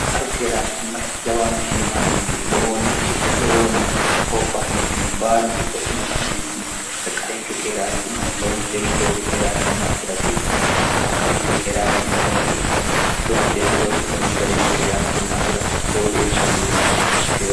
arqaru keeraanchimmara jawaanna shiimainikki wlowoonna hooffahinikkinni baalunku qodhina karneentini qarqarinke keeraanchi mara loonseemmu loosi keeraanchimma afira hasiissanno qarqarinke keeraanchimma afira hasiissanno loonseemmu loosi kunni gadinni keeraanchimma afira lowo geeshsha hasiissanno